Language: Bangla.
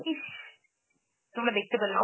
ইস! তোমরা দেখতে পেলে না.